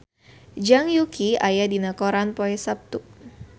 Zhang Yuqi aya dina koran poe Saptu